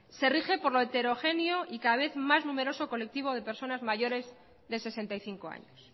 se rige por lo heterogéneo y cada vez más numeroso colectivo de personas mayores de sesenta y cinco años